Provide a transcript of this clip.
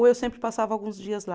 Ou eu sempre passava alguns dias lá.